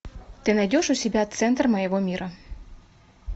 ты найдешь у себя центр моего мира